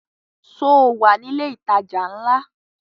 Sọ wà ní ilẹ̀ ìtajà ńlá?